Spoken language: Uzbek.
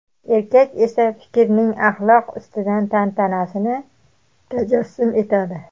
erkak esa fikrning axloq ustidan tantanasini tajassum etadi.